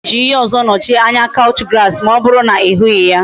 I ga eji ihe ozo nochie anya couch grass ma oburu na I hughi ya?